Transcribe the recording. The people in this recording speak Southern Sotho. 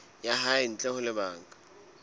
ya hae ntle ho lebaka